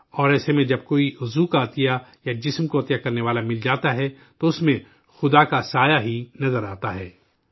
اور ایسے میں جب کوئی عضو یا جسم کا عطیہ کرنے والا مل جاتا ہے، تو اس میں ایشور کی شکل ہی نظر آتی ہے